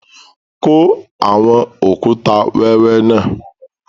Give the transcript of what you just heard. Kọ awọn okùtà wẹwẹ náà!